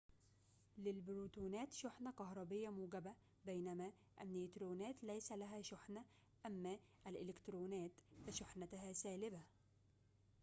للبروتونات شحنة كهربية موجبة بينما النيوترونات ليس لها شحنة أما الإلكترونات فشحنتها سالبة